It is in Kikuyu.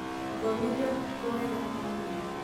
Ngomire ũtukũ wega ta mwana.